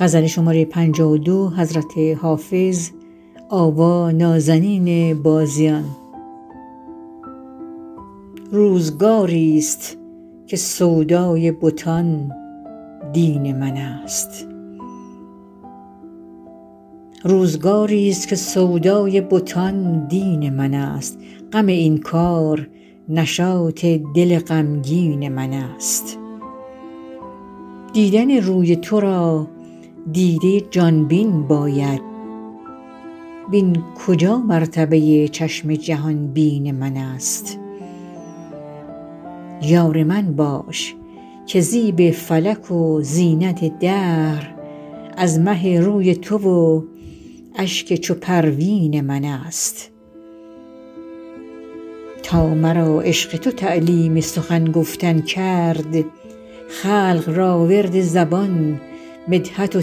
روزگاری ست که سودای بتان دین من است غم این کار نشاط دل غمگین من است دیدن روی تو را دیده ی جان بین باید وین کجا مرتبه ی چشم جهان بین من است یار من باش که زیب فلک و زینت دهر از مه روی تو و اشک چو پروین من است تا مرا عشق تو تعلیم سخن گفتن کرد خلق را ورد زبان مدحت و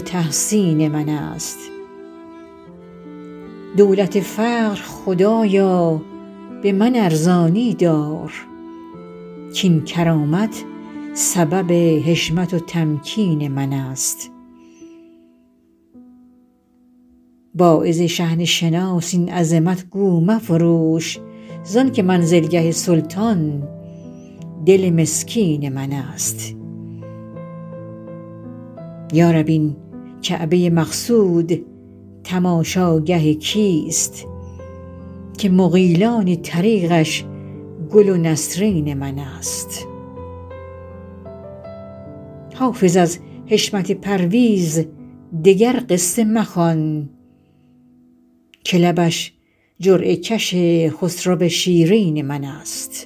تحسین من است دولت فقر خدایا به من ارزانی دار کاین کرامت سبب حشمت و تمکین من است واعظ شحنه شناس این عظمت گو مفروش زان که منزلگه سلطان دل مسکین من است یا رب این کعبه ی مقصود تماشاگه کیست که مغیلان طریقش گل و نسرین من است حافظ از حشمت پرویز دگر قصه مخوان که لبش جرعه کش خسرو شیرین من است